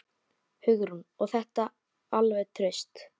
Hugrún: Og þetta alveg traust?